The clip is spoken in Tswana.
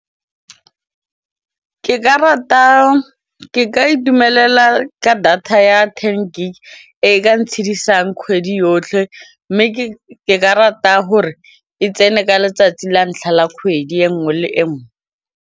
Ke ka itumelela ka data ya ten gig e ka ntshidisang kgwedi yotlhe mme ke ka rata gore e tsene ka letsatsi la ntlha la kgwedi e nngwe le nngwe.